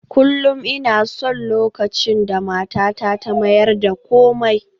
Kullum ina son lokacin da matata ta mayar da komai